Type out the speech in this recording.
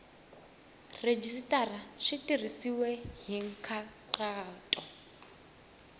rhejisitara swi tirhisiwile hi nkhaqato